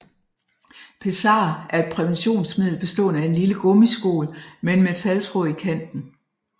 Pessar er et præventionsmiddel bestående af en lille gummiskål med en metaltråd i kanten